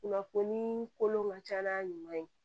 Kunnafoni kolon ka ca n'a ɲuman ye